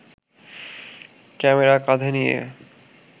camera কাঁধে নিয়ে